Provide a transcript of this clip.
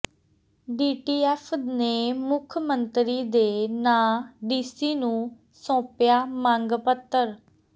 DTF ਨੇ ਮੁੱਖ ਮੰਤਰੀ ਦੇ ਨਾਂ ਡੀਸੀ ਨੰੂ ਸੌਂਪਿਆ ਮੰਗ ਪੱਤਰ